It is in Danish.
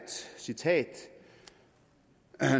citat